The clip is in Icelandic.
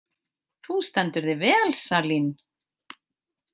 Þú stendur þig vel, Salín!